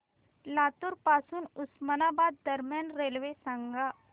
लातूर पासून उस्मानाबाद दरम्यान रेल्वे सांगा